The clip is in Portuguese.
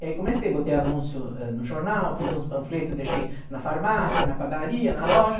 E aí comecei, botei anúncio, ãh, no jornal, fiz uns panfletos, deixei na farmácia, na padaria, na loja.